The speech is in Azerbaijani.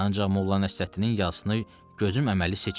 Ancaq Molla Nəsrəddinin yazısını gözüm əməli seçmir.